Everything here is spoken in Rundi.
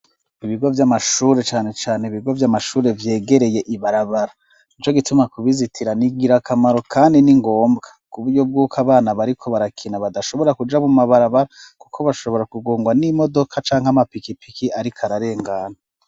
Ibigo vy'amashure cane cane ibigo vy'amashure vyegereye ibarabara nico gituma kubizitira ningira kamaro kandi n'ingombwa kuburyo bwuko abana bariko barakina badashobora kuja mu mabarabara kuko bashobora kugongwa n'imodoka canke amapikipiki ariko ararengana.